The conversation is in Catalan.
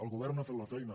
el govern ha fet la feina